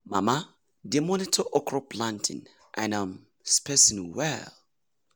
mama dey monitor okra planting and um spacing well.